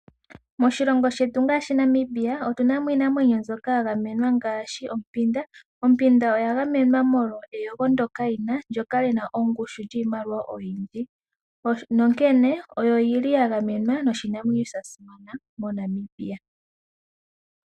Moshilongo shetu ngaashi Namibia otunamo iinamwenyo mbyoka yagamenwa ngaashi ompanda. Ombanda oya gamenwa molwa eyego ndjoka yina, ndjoka yina ongushu yiimaliwa oyindji nonkene oyo yili yagamenwa noshinamwenyo shasimana moNamibia.